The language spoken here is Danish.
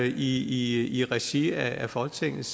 i i regi af folketingets